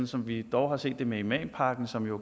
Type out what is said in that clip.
som vi dog har set det med imampakken som jo